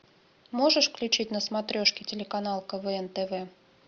можешь включить на смотрешке телеканал квн тв